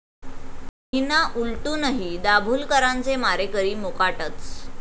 महिना उलटूनही दाभोलकरांचे मारेकरी मोकाटाच!